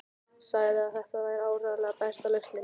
Sagði að þetta væri áreiðanlega besta lausnin.